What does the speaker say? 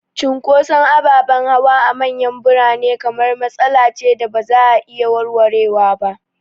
Cunkoson ababen hawa a manyan birane kamar matsala ce da ba za a iya warwarewa ba.